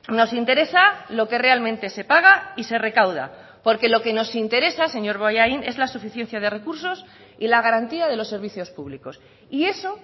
nos interesa lo que realmente se paga y se recauda porque lo que nos interesa señor bollain es la suficiencia de recursos y la garantía de los servicios públicos y eso